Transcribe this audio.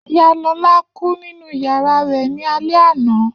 Iya Lola ku ninu yara rẹ ni alẹ ana.